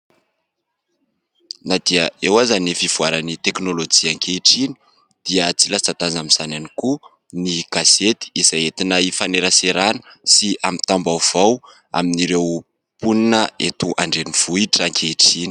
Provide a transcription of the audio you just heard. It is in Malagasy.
Na dia eo aza ny vivoaran'ny teknolojia ankehitriny dia tsy latsa-ndaja amin'izany any koa ny gasety izay tina hifaneraserana sy amin'ny tam-baovao amin'ireo mponina eto andreni-vohitra ankehitriny.